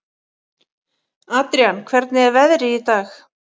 Adrian, hvernig er veðrið í dag?